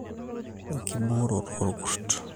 Enkiboorroto oorku`rrt.